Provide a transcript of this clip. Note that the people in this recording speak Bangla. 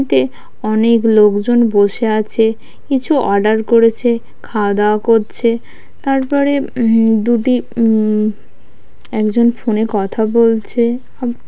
তে অনেক লোকজন বসে আছে কিছু অর্ডার করেছে খাওয়া দাওয়া করছে তারপরে হুম দুটি হুম একজন ফোনে কথা বলছে আব--